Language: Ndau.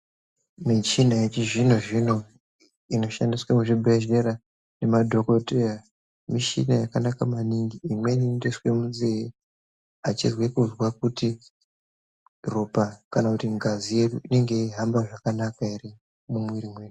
Muchina yechi zvino zvino inoshandiswe mu zvibhedhlera nema madhokoteya michina yaka naka maningi imweni inoto iswe munze achinzwe kunzwa kuti ropa kana kuti ngazi yedu inenge yei hamba zvakanaka ere.